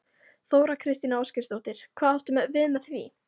Þóra Kristín Ásgeirsdóttir: Hvað áttu við með því?